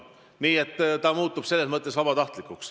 Nii et see muutub vabatahtlikuks.